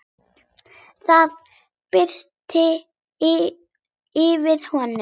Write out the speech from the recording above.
Það birti yfir honum.